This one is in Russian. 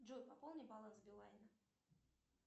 джой пополни баланс билайна